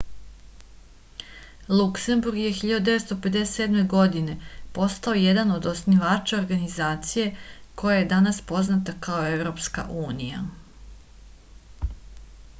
luksemburg je 1957. godine postao jedan od osnivača organizacije koja je danas poznata kao evropska unija